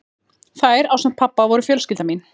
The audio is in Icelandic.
Þær, ásamt pabba, voru fjölskylda mín.